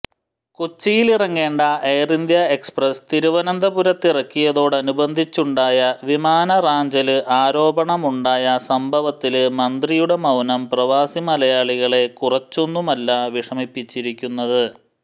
കൊച്ചിയിലിറങ്ങേണ്ട air India express തിരുവനന്തപുരത്തിറക്കിയതോടനുബന്ധിച്ചുണ്ടായ വിമാനറാഞ്ചല് ആരോപണമുണ്ടായ സംഭവത്തില് മന്ത്രിയുടെ മൌനം പ്രവാസി മലയാളികളെ കുറച്ചൊന്നുമല്ല വിഷമിപ്പിച്ചിരിക്കുന്നത്